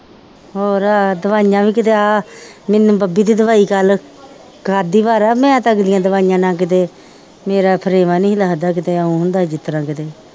ਹੋਰ ਆਹ ਦਵਾਈਆਂ ਵੀ ਕਿਤੇ ਆਹ ਮੈਨੂੰ ਬੱਬੀ ਦੀ ਦਵਾਈ ਕੱਲ੍ਹ ਖਾਧੀ ਬਾਰਾ ਮੈਂ ਤਾਂ ਦਵਾਈਆਂ ਨਾਲ ਕਿਤੇ ਮੇਰੇ ਥਰੇਵਾਂ ਨੀ ਲੱਗਦਾ ਕਿਤੇ ਇਉਂ ਹੁੰਦਾ ਜਿਸ ਤਰ੍ਹਾਂ ਕਿਤੇ